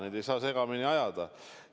Neid ei tohi segamini ajada!